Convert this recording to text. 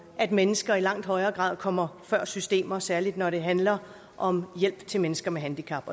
at mennesker i langt højere grad kommer før systemer særlig når det handler om hjælp til mennesker med handicap